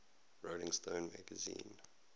rolling stone magazine